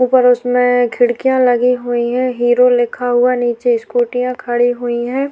ऊपर उसमे खिड़कियां लगी हुई है। हीरो लिखा हुआ नीचे स्कूटी खड़ी हुई है--